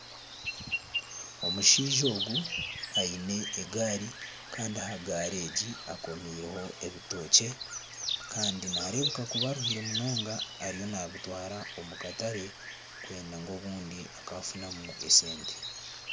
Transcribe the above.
Omushaija ogu aine egaari kandi aha gaari egi akomireho ebitookye kandi nareebeka kuba aruhire munonga ariyo nabitwara omu katare kwenda ngu obundi akafunamu esente.